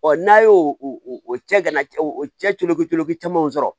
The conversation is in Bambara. n'a y'o o cɛ ka na o cɛ tolo koloki caman sɔrɔ